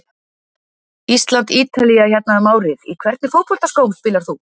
Ísland-Ítalía hérna um árið Í hvernig fótboltaskóm spilar þú?